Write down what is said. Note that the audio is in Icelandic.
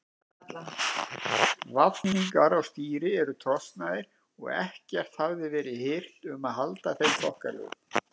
Vafningar á stýri voru trosnaðir og ekkert hafði verið hirt um að halda þeim þokkalegum.